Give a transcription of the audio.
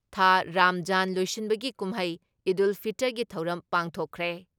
ꯊꯥ ꯔꯥꯝꯖꯥꯟ ꯂꯣꯏꯁꯤꯟꯕꯒꯤ ꯀꯨꯝꯍꯩ ꯏꯗꯨꯜ ꯐꯤꯇꯔꯒꯤ ꯊꯧꯔꯝ ꯄꯥꯡꯊꯣꯛꯈ꯭ꯔꯦ ꯫